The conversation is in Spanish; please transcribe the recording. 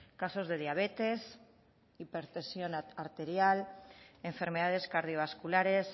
casos de diabetes hipertensión arterial enfermedades cardiovasculares